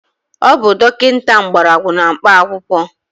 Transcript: Ọ bụ dọkịta Mgbọrọgwụ na mkpa akwụkwọ